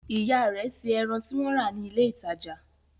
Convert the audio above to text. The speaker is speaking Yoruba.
Ìyá rẹ̀ se ẹran tí wọ́n rà ní ilé-ìtajà?